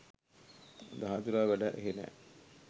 දහදුරා වැඩ එහෙ නැහැ.